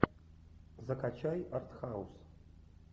закачай артхаус